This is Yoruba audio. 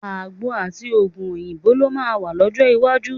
Àgbo àti òògùn òyìnbó ló máa wà lọ́jọ́ iwájú.